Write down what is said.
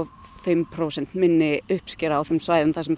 fimm prósent minni uppskera á þeim svæðum þar sem fuglin